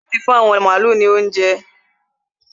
Ṣé o ti fún àwọn màálu ní óuńjẹ?